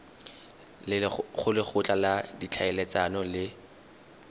go lekgotla la ditlhaeletsano le